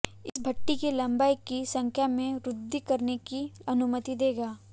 इस भट्ठी की लंबाई की संख्या में वृद्धि करने की अनुमति देगा